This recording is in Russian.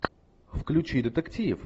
включи детектив